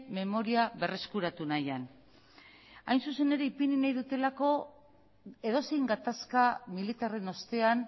memoria berreskuratu nahian hain zuzen ere ipini nahi dudalako edozein gatazka militarren ostean